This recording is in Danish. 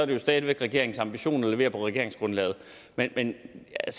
det stadig regeringens ambition at levere på regeringsgrundlaget men jeg